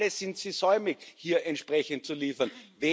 Alle sind sie säumig, hier entsprechend zu liefern.